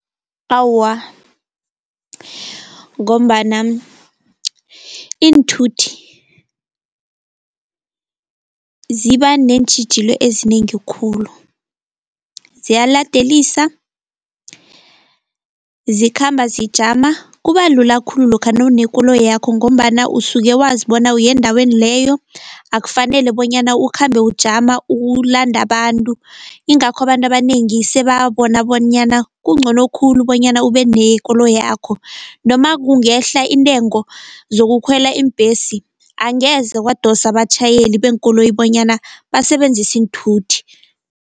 Awa, ngombana iinthuthi ziba neentjhijilo ezinengi khulu ziyaladelisa, zikhamba zijama. Kuba lula khulu lokha nawunekoloyakho ngombana usuke wazi bona uyendaweni leyo. Akufanele bonyana ukhambe ujama, ulanda abantu. Ingakho abantu abanengi sebabona bonyana kungcono khulu bonyana ube nekoloyakho. Noma kungehla intengo zokukhwela iimbhesi, angeze kwadosa abatjhayeli beenkoloyi bonyana basebenzisi iinthuthi.